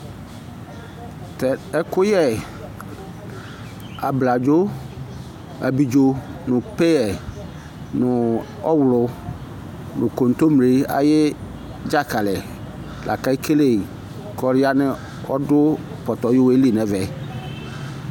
Tɛ ɛkuyɛ ablaɖzo abidzo peye nu kotoble ayu dzakali la keke ku ɔdu pɔtɔli nɛvɛ